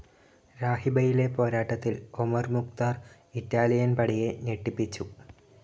രാഹിബയിലെ പോരാട്ടത്തിൽ Omar Mukhtar Italian പടയെ ഞെട്ടിപ്പിച്ചു